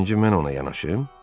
Birinci mən ona yanaşım?